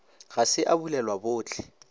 ga se a bulelwa bohle